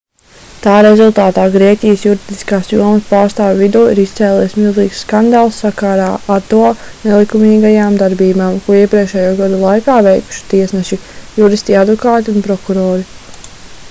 tā rezultātā grieķijas juridiskās jomas pārstāvju vidū ir izcēlies milzīgs skandāls sakarā ar to nelikumīgajām darbībām ko iepriekšējo gadu laikā veikuši tiesneši juristi advokāti un prokurori